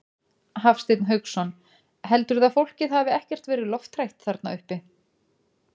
Hafsteinn Hauksson: Heldurðu að fólkið hafi ekkert verið lofthrætt þarna uppi?